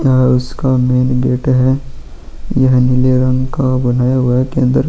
और उसका main gate है यह नीले रंग का बनाया गया है अंदर --